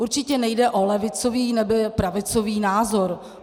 Určitě nejde o levicový nebo pravicový názor.